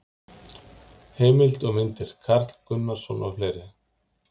Heimildir og myndir: Karl Gunnarsson og fleiri.